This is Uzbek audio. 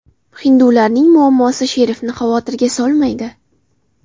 Hindularning muammosi sherifni xavotirga solmaydi.